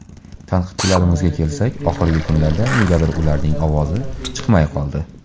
Tanqidchilarimizga kelsak, oxirgi kunlarda negadir ularning ovozi chiqmay qoldi.